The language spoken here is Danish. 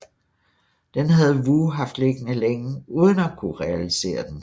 Den havde Woo haft liggende længe uden at kunne realisere den